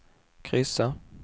kryssa